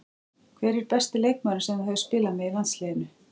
Hver er besti leikmaðurinn sem þú hefur spilað með í landsliðinu?